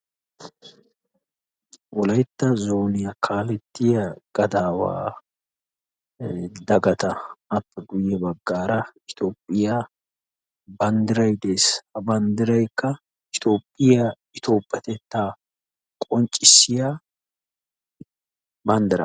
Wolaytta zooniya kaalettiya gadaawaa dagata appe guyye baggaara toophphiya banddirayi de"es. Ha bandiraykka toophphiya toophphetettaa qonccissiya banddira.